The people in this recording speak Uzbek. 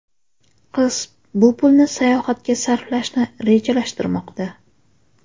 Qiz bu pulni sayohatga sarflashni rejalashtirmoqda.